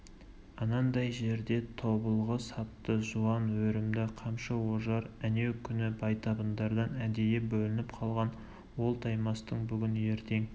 анандай жерде тобылғы сапты жуан өрімді қамшы ожар әнеукүні байтабындардан әдейі бөлініп қалған ол таймастың бүгін-ертең